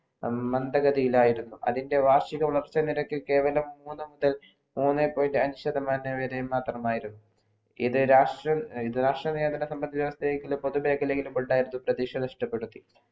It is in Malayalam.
അന്താഗതിലായിരുന്നു അതിൻ്റെ വാർഷിക വളർഷ നിരക് കേവലം മൂന്ന് മുതൽ മൂന്നേ point അഞ്ചു ശതമാനം മാത്രമായിരുന്നു ഇത് രാഷ്ട്ര രാഷ്ട്രയെ സംബന്ധിച്ചു പുതുമേഖലയ്ക്കുള്ള പപ്രതീക്ഷ നഷ്ടപ്പെടുത്തി